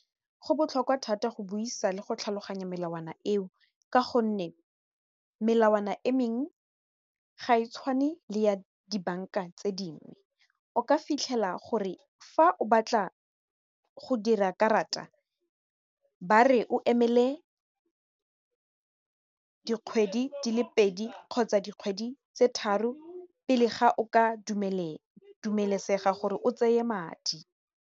Go botlhokwa thata go buisa le go tlhaloganya melawana eo ka gonne melawana e mengwe ga e tshwane le ya dibanka tse dingwe, o ka fitlhela gore fa o batla go dira karata ba re o emele dikgwedi di le pedi kgotsa dikgwedi tse tharo pele ga o ka dumelesega gore o tseye madi.